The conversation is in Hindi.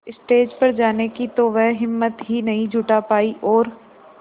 स्टेज पर जाने की तो वह हिम्मत ही नहीं जुटा पाई और